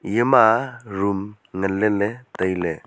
iya ma room ngan ley le tailey.